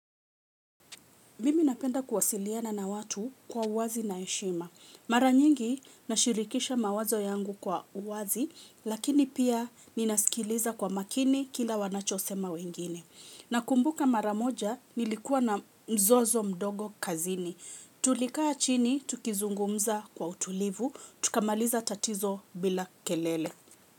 Mimi napenda kuwasiliana na watu kwa uwazi na heshima. Mara nyingi nashirikisha mawazo yangu kwa uwazi, lakini pia ninasikiliza kwa makini kila wanachosema wengine. Nakumbuka mara moja nilikuwa na mzozo mdogo kazini. Tulikaa chini, tukizungumza kwa utulivu, tukamaliza tatizo bila kelele.